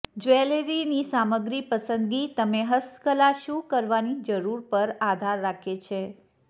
જ્વેલરીની સામગ્રી પસંદગી તમે હસ્તકલા શું કરવાની જરૂર પર આધાર રાખે છે